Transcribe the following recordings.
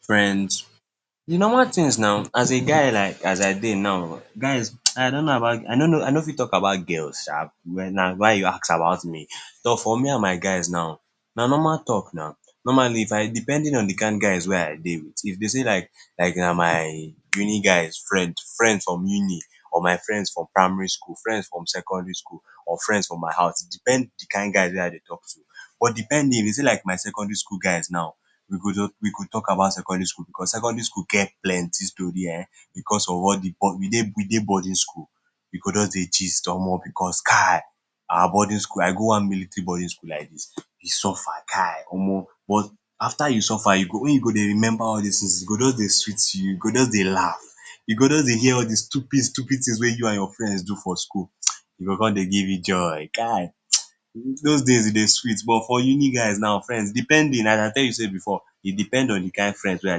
Friends, de normal thing now, as a guy, as I dey now, I no no, I no fit talk about girls sha, but na wen you ask about me, so for me and my guys like dos na normal talk na, normally if I depending on de kind guys wey I dey with, if to dey like na my, na my uni guys friend, friends from uni, or my friends from primary school, friends from secondary school, or friends from my house, depend on de kind guys wey I dey talk too, but depending, u se like my secondary school guys now we go jus talk about secondary school because secondary school get plenty story um because of all de, we dey boarding school, we go just dey gist, Omo because Kai our boarding, I go one military boarding school like dis, we suffer Kai, Omo but after you suffer wen you remember all dis things e go just dey sweet you, u go just dey laugh, u go jus dey hear de stupid stupid things wey you and your friends do for school, e go cion dey give you joy kai[hisses] those days e dey sweet, but for uni guys now, depending as I tell you sey before, depend on de kind friends wey I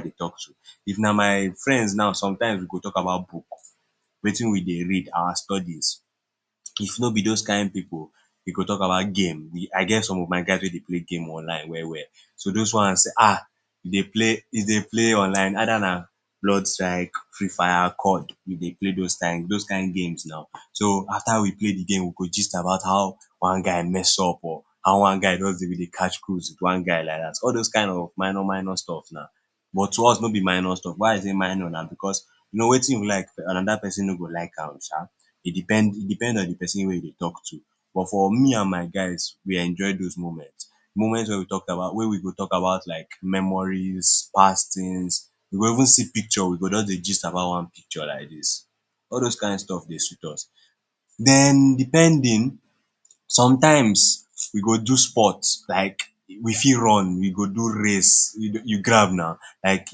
dey talk to, if na my friends now sometimes we go talk about book, Wetin we dey read our studies, if no be those kind pipu we go talk about game, I get some of my guys wey dey play game online well we’ll do those ones ahhh e dey, e dey play online either na, fifa, e dey okay those kind, those kind games now, so na after we play de game we go gist about how one guy, mess up or how one guy just bin dey catch cruise with one guy like dat, all those kind of minor minor stuff but to us no be minor stuff, why I say minor na because u no Wetin I like another persin no go like am sha, so e depend on de person wey you dey talk too, but for me and my guys we enjoy those moments, moments wey we talk about, wey we go talk about like memories past things we go even see picture, we go jus dey gist about ine picture like dis, all those kind stuff, dey sweet us, den depending sometimes we go do sport like we fit run, we go do race, u grab na, like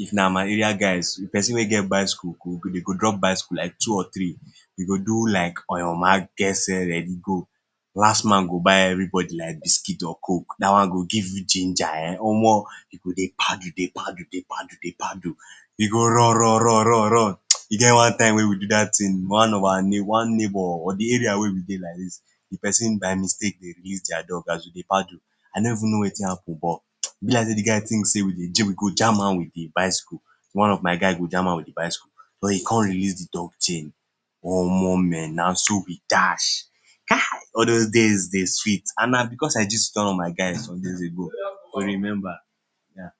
if na my area guys, person we get bicycles, dem go drop bicycles like two or three we go do like, on your marks get set, ready go, last man go buy everybody like biscuit or coke, dat one go give u ginger um Omo u go dey paddle dey paddle, u go run run run run run, e get one time wey we do dat thing, one neighbor Abi area wey we dey like dis, de persin by mistake release dia dog as we dey paddle I no even no Wetin happen but e b like dey de guy think sey we dey jam am with de bicycle, one of my guy go jam am with de bicycle, so e con release de dog chain, Omo mehn naso we dash, kai, all those days dey sweet and na because I gist one of my guys, wey just dey go, to remember yeah.